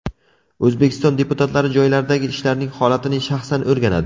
O‘zbekiston deputatlari joylardagi ishlarning holatini shaxsan o‘rganadi.